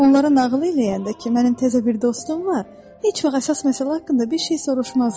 Onlara nağıl eləyəndə ki, mənim təzə bir dostum var, heç vaxt əsas məsələ haqqında bir şey soruşmazlar.